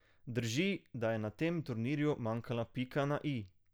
Drži, da je na tem turnirju manjkala pika na i.